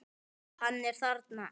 Hann er þarna!